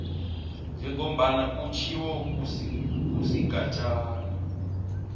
njengombana kutjhiwo kusigatjana